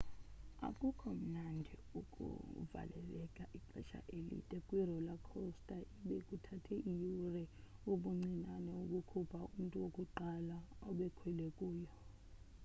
akukho mnandi ukuvaleleka ixesha elide kwi-roller coaster ibe kuthathe iyure ubuncinane ukukhupha umntu wokuqala obekhwele kuyo